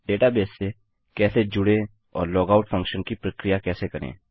database से कैसे जुड़ें और लॉगआउट फंक्शन की प्रक्रिया कैसे करें